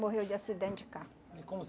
Morreu de acidente de carro. Como